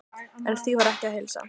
En því var ekki að heilsa.